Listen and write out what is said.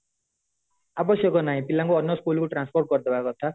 ଆବଶ୍ୟକ ନାହିଁ ପିଲାଙ୍କୁ ଅନ୍ୟ school କୁ transfer କରି ଦବା କଥା